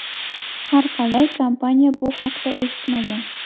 Har qalay, kompaniya bu haqda eshitmagan.